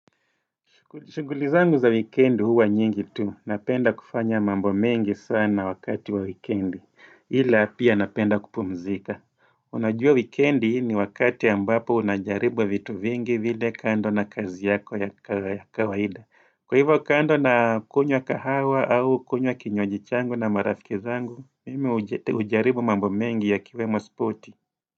Shughuli zangu za weekend huwa nyingi tu, napenda kufanya mambo mengi sana wakati wa weekend, ila pia napenda kupumzika. Unajua weekend ni wakati ambapo unajaribwa vitu vingi vile kando na kazi yako ya kawaida. Kwa hivyo kando na kunywa kahawa au kunywa kinywaji changu na marafiki zangu, mimi hujaribu mambo mengi yakiwemo sporti.